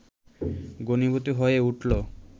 ঘনীভূত হয়ে উঠলো